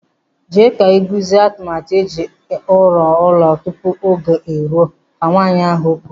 Jee ka iguzie atụmatụ eji ọrụ ụlọ tupu oge eruo, Ka Nwaanyị ahụ kwuru.